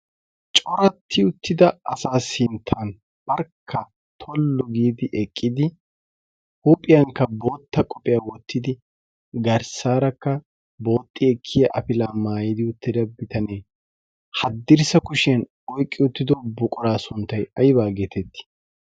coratti uttida asaa sinttan barkka tollu giidi eqqidi huuphiyankka bootta qophiyaa wottidi garssaarakka booxxi ekkiya afilaa maayidi uttida bitanee haddirssa kushiyan oyqqi uttido buquraa sunttay aybaa geetettii?